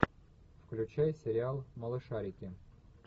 включай сериал малышарики